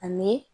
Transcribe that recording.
Ani